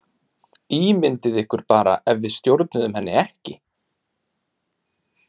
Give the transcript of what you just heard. Ímyndið ykkur bara ef við stjórnuðum henni ekki!